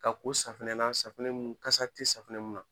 Ka ko safunɛ na safunɛ mun kasa te safunɛ mun na.